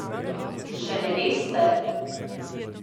Še ne veste?